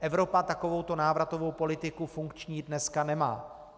Evropa takovouto návratovou politiku funkční dneska nemá.